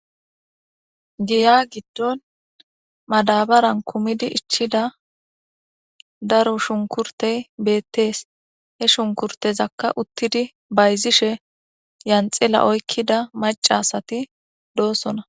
giya giddon madabaran kumidi ichchida daro shunkurtey beettees he shunkurtezakka uttidi bayzishe yanxila oykkida macasati doosona